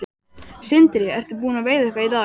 Sindri: Ertu búinn að veiða eitthvað í dag?